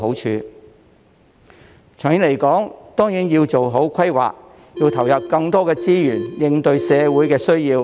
長遠而言，政府當然要做好規劃，投入更多資源應對社會的需要。